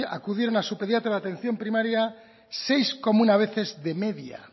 acudieron a su pediatra de atención primaria seis coma uno veces de media